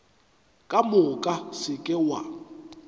ka moka se ke wa